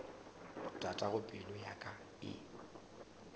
tatago pelo ya ka e